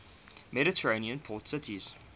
mediterranean port cities